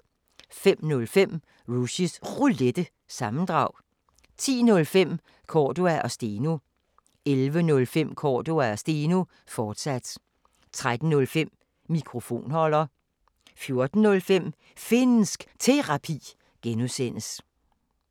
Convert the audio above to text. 05:05: Rushys Roulette – sammendrag 10:05: Cordua & Steno 11:05: Cordua & Steno, fortsat 13:05: Mikrofonholder 14:05: Finnsk Terapi (G)